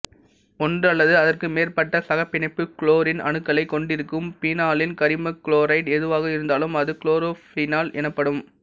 ஒன்று அல்லது அதற்கு மேற்பட்ட சகப்பிணைப்பு குளோரின் அணுக்களைக் கொண்டிருக்கும் பீனாலின் கரிமகுளோரைடு எதுவாக இருந்தாலும் அது குளோரோபீனால் எனப்படும்